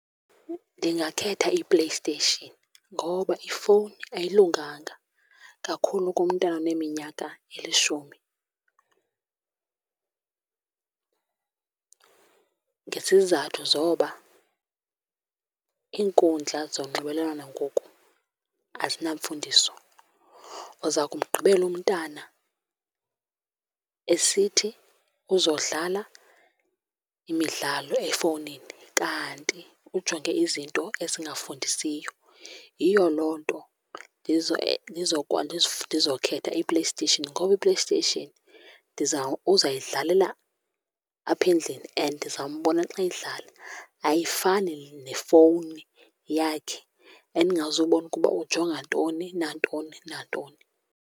Ndingakhetha iPlayStation ngoba ifowuni ayilunganga, kakhulu kumntana oneminyaka elishumi. Ngezizathu zoba iinkundla zonxibelelwano ngoku azinamfundiso. Uza kumgqibela umntana esithi uzodlala imidlalo efowunini kanti ujonge izinto ezingafundisiyo. Yiyo loo nto ndizokhetha iPlayStation, ngoba iPlayStation ndiza, uzayidlalela apha endlini and ndizambona xa edlala, ayifani nefowuni yakhe endingazobona ukuba ujonga ntoni nantoni, nantoni.